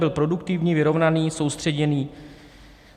Byl produktivní, vyrovnaný, soustředěný.